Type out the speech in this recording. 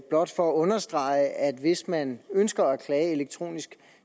blot for at understrege at hvis man ønsker at klage elektronisk